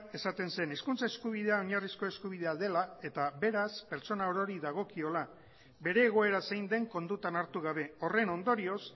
esaten zen hezkuntza eskubidea oinarrizko eskubidea dela eta beraz pertsona orori dagokiola bere egoera zein den kontutan hartu gabe horren ondorioz